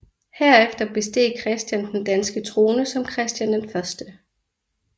Herefter besteg Christian den danske trone som Christian 1